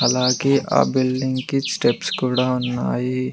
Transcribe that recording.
అలాగే ఆ బిల్డింగ్ కి స్టెప్స్ కూడా ఉన్నాయి.